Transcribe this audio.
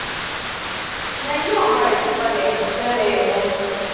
iyẹn yoo gba itupalẹ yeleyele.